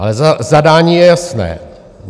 Ale zadání je jasné.